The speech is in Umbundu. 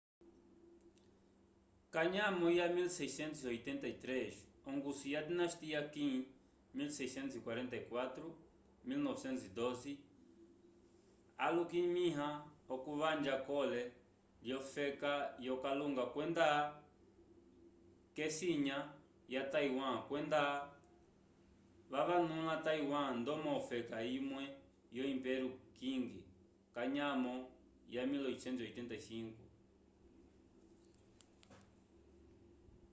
kanyamo ya 1683 ongusu ya dinastia qin 1644-1912 alikuminya okuvanja kolone lyo feka yo kalunga kwenda kesinya ya taiwan kwenda vavanula taiwan ndomo ofeka imwe yo impeio qing kanyamo ya 1885